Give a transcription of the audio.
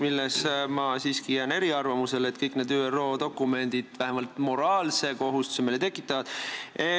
Ma jään selles siiski eriarvamusele, kõik need ÜRO dokumendid tekitavad meile vähemalt moraalse kohustuse.